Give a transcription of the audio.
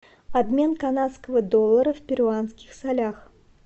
обмен канадского доллара в перуанских солях